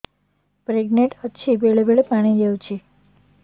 pregnant ଅଛି ବେଳେ ବେଳେ ପାଣି ଯାଉଛି